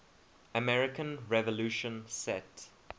american revolution set